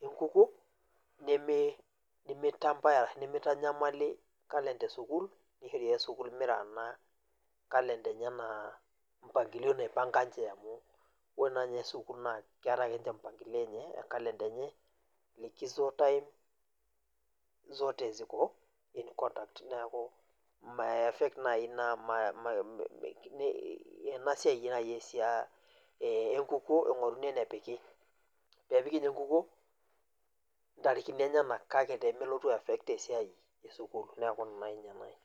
engukuo nimitanyamali kalenda esukuul nishori ake sukul mirana kalenda enye enaa mpangilio naipanga ninche amu ore naa ninye sukuul naa keeta akeninche mpangilio enche amu keeta e likizo time zote ziko in contact neeku mei affect nai ina ena siai engukuo eingoruni enepiki niaku ninye epiki engukuo intarikini enyenak kake peemelotu aiaffect esiai esukuul niaku ina nai nanu.